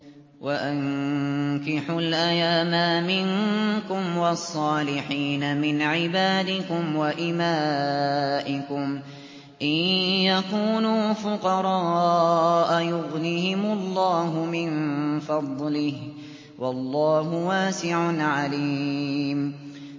وَأَنكِحُوا الْأَيَامَىٰ مِنكُمْ وَالصَّالِحِينَ مِنْ عِبَادِكُمْ وَإِمَائِكُمْ ۚ إِن يَكُونُوا فُقَرَاءَ يُغْنِهِمُ اللَّهُ مِن فَضْلِهِ ۗ وَاللَّهُ وَاسِعٌ عَلِيمٌ